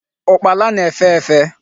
Ukpala na-efe efe